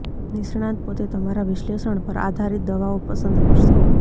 નિષ્ણાત પોતે તમારા વિશ્લેષણ પર આધારિત દવાઓ પસંદ કરશે